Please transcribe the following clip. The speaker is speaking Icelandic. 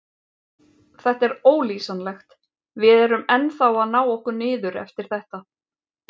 Þetta er ólýsanlegt, við erum ennþá að ná okkur niður eftir þetta.